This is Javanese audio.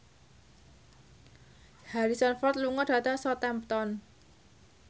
Harrison Ford lunga dhateng Southampton